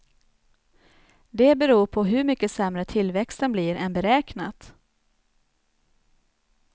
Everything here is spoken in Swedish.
Det beror på hur mycket sämre tillväxten blir än beräknat.